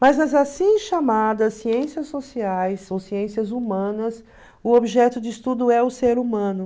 Mas nas assim chamadas ciências sociais ou ciências humanas, o objeto de estudo é o ser humano.